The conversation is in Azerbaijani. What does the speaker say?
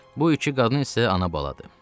Bu iki qadın isə ana-baladır.